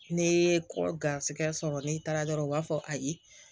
Ne ye kɔ garisigɛ sɔrɔ n'i taara dɔrɔn u b'a fɔ ayi